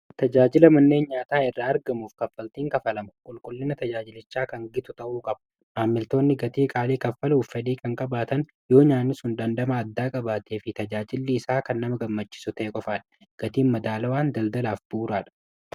tajaajila manneen nyaataa irraa argamuuf kaffaltiin kafalamu qulqullina tajaajilichaa kan gitu ta'uu qabu maammiltoonni gatii qaalii kaffaluuf fedhii kan qabaatan yoo nyaani sun dandhama addaa qabaatee fi tajaajillii isaa kan nama gammachisu te'e qofaadha gatiin madaalawaan daldalaaf bu'uraadha